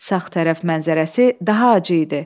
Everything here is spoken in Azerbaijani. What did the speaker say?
Sağ tərəf mənzərəsi daha acı idi.